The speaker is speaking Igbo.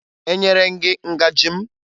Enyere m gị ngaji m?